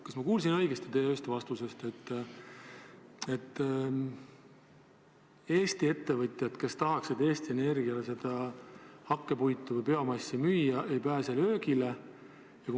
Kas ma kuulsin õigesti teie ühest vastusest, et Eesti ettevõtjad, kes tahaksid Eesti Energiale hakkpuitu või biomassi müüa, ei pääse löögile?